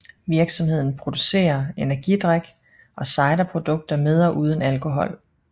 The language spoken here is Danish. Virksomheden producerer energidrik og ciderprodukter med og uden alkohol